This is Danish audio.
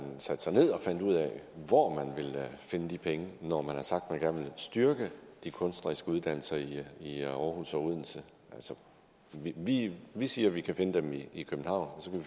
satte sig ned og fandt ud af hvor man ville finde de penge når man har sagt at man gerne styrke de kunstneriske uddannelser i i aarhus og odense vi vi siger at vi kan finde dem i københavn og så kan